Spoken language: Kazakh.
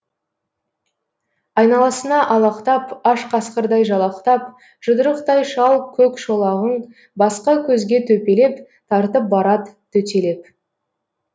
айналасына алақтап аш қасқырдай жалақтап жұдырықтай шал көк шолағын басқа көзге төпелеп тартып барад төтелеп